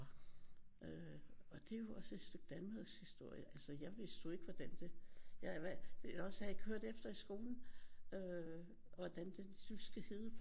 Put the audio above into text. Øh og det er jo også et stykke Danmarkshistorie altså jeg vidste jo ikke hvordan det eller også har jeg ikke hørt efter i skolen hvordan den jyske hede